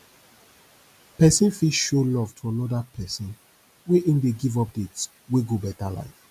persin fit show love to another person wey im de give updates wey go better life